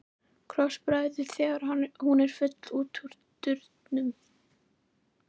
Krossbregður þegar hún er full út úr dyrum.